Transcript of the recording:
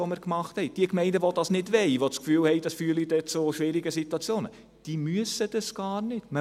Diejenigen Gemeinden, die das nicht wollen, die den Eindruck haben, dass dies zu schwierigen Situationen führt, müssen dies nicht tun!